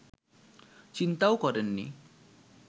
চিন্তাও করেননি